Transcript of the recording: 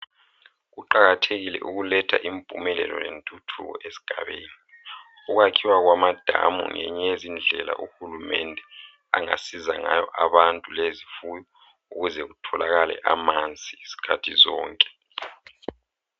Kuqakathekile ukuletha impumelelo lentuthuko esigabeni. Ukwakhiwa kwamadamu ngenye yezindlela uhulumende angasiza ngayo abantu lezifuyo ukuze kutholakale amanzi zkhathi zonke.